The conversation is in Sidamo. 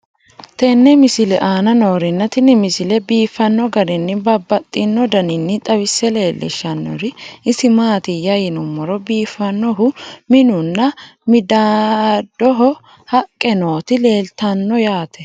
tenne misile aana noorina tini misile biiffanno garinni babaxxinno daniinni xawisse leelishanori isi maati yinummoro biifannohu minu nna midaadoho haqqe nootti leelittanno yaatte